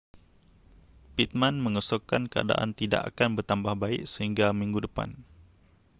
pittman mengesyorkan keadaan tidak akan bertambah baik sehingga minggu depan